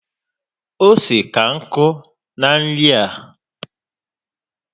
Ose ka nkụ na nri a